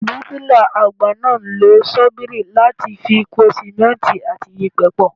Bíríkilà àgbà náà ń lo ṣọ́bìrì láti fi po Símẹ́ǹtì àti yèpẹ̀ pọ̀.